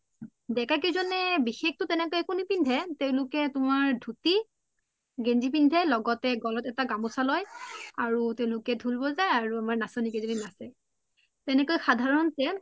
দেকা কেইজনে বিষস আকো নিপিন্ধে তেওলোকে তুমাৰ ধুতি গেন্জি পিন্ধে লগতে গলত এটা গামুচা লই আৰু তেওলোকে ধুল বোজাই আৰু আমাৰ নাচনি কেইতাই নাচে তেনেকোই সাধাৰণতে